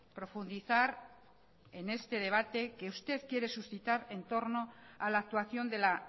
profundizar en este debate que usted quiere suscitar en torno a la actuación de la